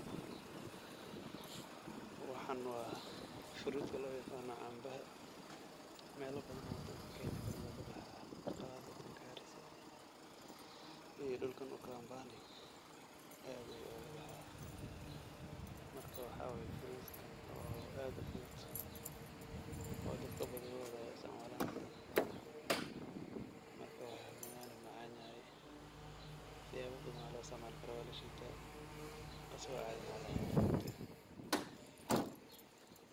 Waxaan waa frutka loo yiqaano cambaha. Meelo badan wadankan Kenya kamid ah ayuu ka baxaa, khaasatan Garissa iyo dhulkan ukambani add ayuu uugu baxaa. Marka waxaa waay frutkan oo aad ufudud oo dadka badigooda ay istacmaalaan. Marka, waana macan yahay. Siyaabo badan ayaa loo isticmaali karaa, waa lashiitaa asigo aada ahna waa lacunaa oo fruit eh.